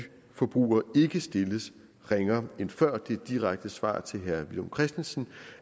forbrugere ikke stilles ringere end før det direkte svar til herre villum christensen